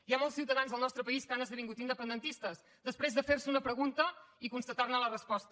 hi ha molts ciutadans al nostre país que han esdevingut independentistes després de fer se una pregunta i constatar ne la resposta